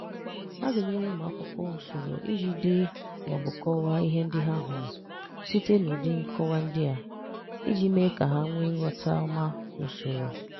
A ga-enyere ụmụ akwụkwọ usoro iji dee ma ọ bụ kọwaa ihe ndị ha hụrụ site na ụdị nkọwa dị a, iji mee ka ha nwee nghọta ọma na usoro.